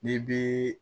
N'i bi